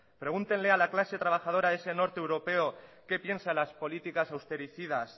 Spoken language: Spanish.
pregúntenle a la clase trabajadora de ese norte europeo qué piensa de las políticas austericidas